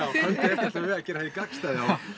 enda ætlum við að gera hið gagnstæða